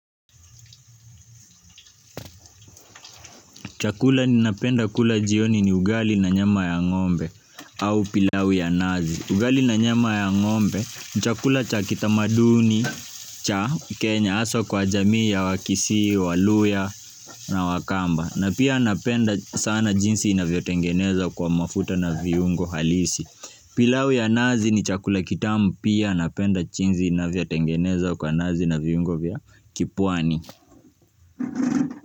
Chakula ninapenda kula jioni ni ugali na nyama ya ng'ombe au pilau ya nazi. Ugali na nyama ya ng'ombe, nchakula cha kitamaduni, cha Kenya hasa kwa jamii ya wakisii, waluya na wakamba. Na pia napenda sana jinsi inavyotengeneza kwa mafuta na viungo halisi. Pilau ya nazi ni chakula kitamu pia napenda jinsi inavyotengenezwa kwa nazi na viungo vya kipwani.